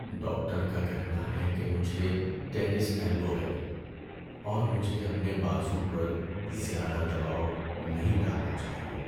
Doctor کا کہنا ہے کہ مجھے ٹینس ایلبو ہے اور مجھے اپنے بازو پر زیادہ دباؤ نہیں ڈالنا چاہیے۔